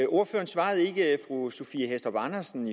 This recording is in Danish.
ordføreren svarede ikke fru sophie hæstorp andersen